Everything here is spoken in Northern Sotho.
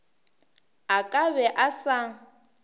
a ka be a sa